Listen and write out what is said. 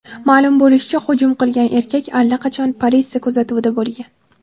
Ma’lum bo‘lishicha, hujum qilgan erkak allaqachon politsiya kuzatuvida bo‘lgan.